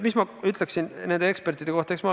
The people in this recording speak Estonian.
Mis ma ütleksin nende ekspertide kohta?